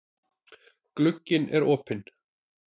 Glugginn er opinn.